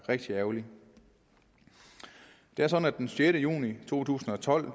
rigtig ærgerligt det er sådan at den sjette juni to tusind og tolv